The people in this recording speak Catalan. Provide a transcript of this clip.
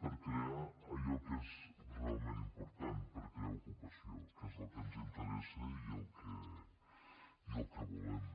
per crear allò que és realment important per crear ocupació que és el que ens interessa i el que volem